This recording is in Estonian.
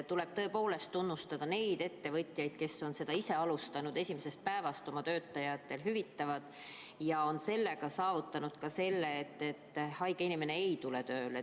Tuleb tõepoolest tunnustada neid ettevõtjaid, kes on ise hakanud oma töötajatele esimesest päevast alates hüvitist maksma ja on sellega saavutanud, et haige inimene ei tule tööle.